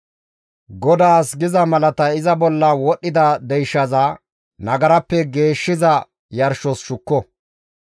GODAAS giza malatay iza bolla wodhdhida deyshaza nagarappe geeshshiza yarshos shukko.